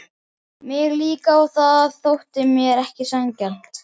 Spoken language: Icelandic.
Mig líka og það þótti mér ekki sanngjarnt.